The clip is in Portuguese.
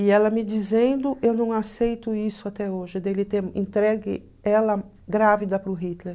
E ela me dizendo, eu não aceito isso até hoje, dele ter entregue ela grávida para o Hitler.